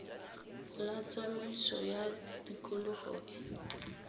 la tsamaiso ya tikologo le